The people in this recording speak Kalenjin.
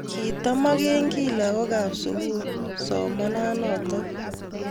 kitamagengiy lagookab sugul somananatok